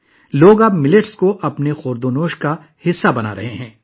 لوگ اب باجرے کو اپنی خوراک کا حصہ بنا رہے ہیں